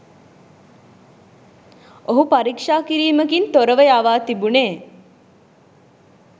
ඔහු පරීක්ෂා කිරීමකින් තොරව යවා තිබුණේ.